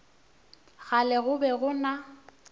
kgale go be go na